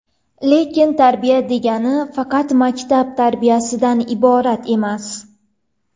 Lekin tarbiya degani faqat maktab tarbiyasidan iborat emas.